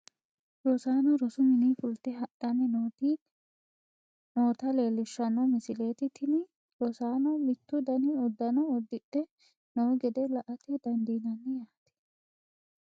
rosaano rosu mininni fulte hadhanni noota leelishshanno misileeti. tini rosaanono mittu dani uddano uddidhe noo gede la'ate dandiinanni yaate .